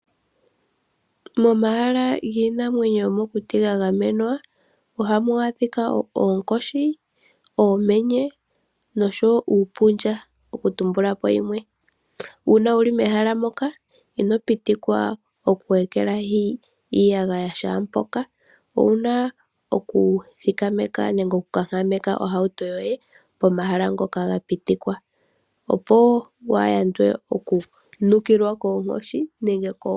Momahala giinamwenyo yomokuti ga gamenwa ohamu adhika oonkoshi, oomenye oshowo uupundja okutumbulapo yimwe. Uuna wuli mehala moka ino pitikwa okwu ekelahi iiyagaya kehe mpoka. Owuna okuthikameka nenge okunkakameka ohauto yoye pomahala ngoka ga pitikwa, opo wu yande okunukilwa koonkoshi.